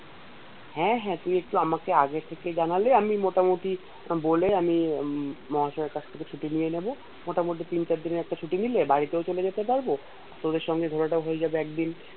হ্যাঁ হাঁ তুই একটু আমাকে আগে থেকে জানালে আমি মোটামুটি বলে আমি মহাশয়ের কাছ থেকে ছুটি নিয়ে নেবো মোটামুটি তিন চারদিনের একটা ছুটি নিলে বাড়িতেও চলে যেতে পারবো তোদের সঙ্গে ঘুরাটাও হয়ে যাব একদিন